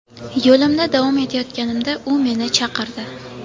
Yo‘limda davom etayotganimda u meni chaqirdi.